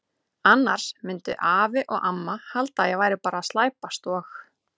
Annars myndu afi og amma halda að ég væri bara að slæpast og.